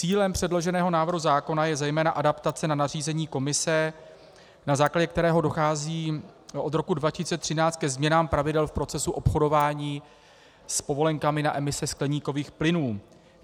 Cílem předloženého návrhu zákona je zejména adaptace na nařízení Komise, na základě kterého dochází od roku 2013 ke změnám pravidel v procesu obchodování s povolenkami na emise skleníkových plynů.